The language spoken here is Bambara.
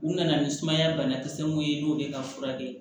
U nana ni sumaya banakisɛ mun ye i n'o de ka furakɛ